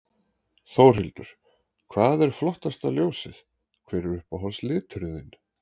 Þórhildur: Hvað er flottasta ljósið, hver er uppáhalds liturinn þinn?